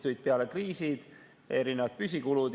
Tulid peale kriisid, erinevad püsikulud.